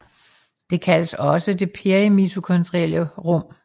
Det kaldes også det perimitokondrielle rum